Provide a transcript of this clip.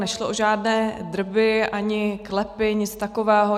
Nešlo o žádné drby ani klepy, nic takového.